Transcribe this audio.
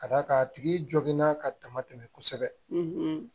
Ka d'a kan a tigi joginna ka dama tɛmɛ kosɛbɛ